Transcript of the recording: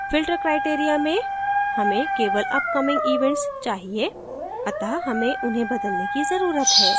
filter criteria में हमें केवल upcoming events चाहिए अत: हमें उन्हें बदलने की जरूरत है